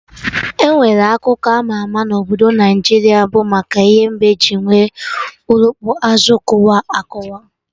Enwere akụkọ ama ama na obodo Naijiria bụ maka ihe mbe ji nwee okpurukpu azụ kụwa akụwa